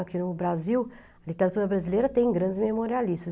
Aqui no Brasil, a literatura brasileira tem grandes memorialistas.